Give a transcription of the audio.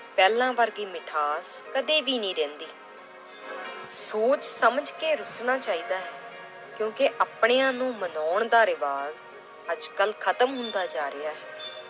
ਪਹਿਲਾਂ ਵਰਗੀ ਮਿਠਾਸ ਕਦੇ ਵੀ ਨਹੀਂ ਰਹਿੰਦੀ ਸੋਚ ਸਮਝ ਕੇ ਰੁਸਣਾ ਚਾਹੀਦਾ ਹੈ, ਕਿਉਂਕਿ ਆਪਣਿਆਂ ਨੂੰ ਮਨਾਉਣ ਦਾ ਰਿਵਾਜ ਅੱਜ ਕੱਲ੍ਹ ਖ਼ਤਮ ਹੁੰਦਾ ਜਾ ਰਿਹਾ ਹੈ।